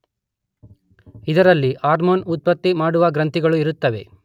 ಇದರಲ್ಲಿ ಹಾರ್ಮೋನ್ ಉತ್ಪತ್ತಿ ಮಾಡುವ ಗ್ರಂಥಿಗಳೂ ಇರುತ್ತವೆ.